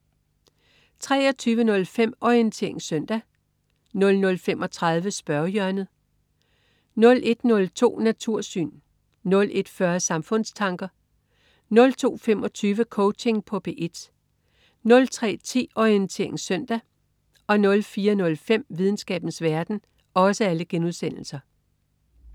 23.05 Orientering søndag* 00.35 Spørgehjørnet* 01.02 Natursyn* 01.40 Samfundstanker* 02.25 Coaching på P1* 03.10 Orientering søndag* 04.05 Videnskabens verden*